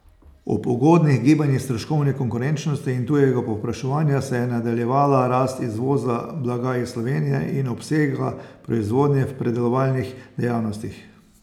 Ob ugodnih gibanjih stroškovne konkurenčnosti in tujega povpraševanja se je nadaljevala rast izvoza blaga iz Slovenije in obsega proizvodnje v predelovalnih dejavnostih.